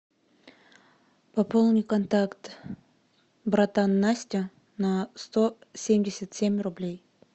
пополни контакт братан настя на сто семьдесят семь рублей